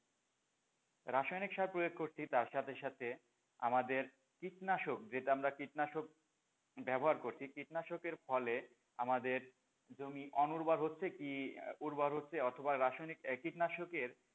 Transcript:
রাসায়নিক সার প্রয়োগ করছি তার সাথে সাথে আমাদের কীটনাশক যেটা আমরা কিটনাশক ব্যবহার করছি কীটনাশকের ফলে আমাদের জমি অনুর্বর হচ্ছে কি উর্বর হচ্ছে অথবা রাসায়নিক কীটনাশকের,